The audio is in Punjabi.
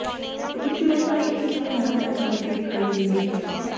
ਸਮੁੱਚੀ ਰਚਨਾ ਇਕ ਹੀ ਸਮੇਂ ਨਰਮ ਅਤੇ ਚਮਕਦੀ ਦਿਖਾਈ ਦਿੰਦੀ ਹੈ